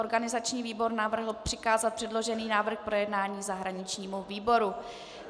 Organizační výbor navrhl přikázat předložený návrh k projednání zahraničnímu výboru.